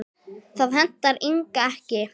Það hentaði Inga ekki.